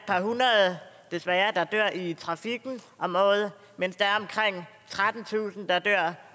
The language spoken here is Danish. par hundrede desværre der dør i trafikken om året mens der er omkring trettentusind der dør